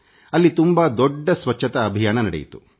ಅಲ್ಲಿ ತುಂಬಾ ದೊಡ್ಡ ಸ್ವಚ್ಛತಾ ಅಭಿಯಾನ ನಡೆಯಿತು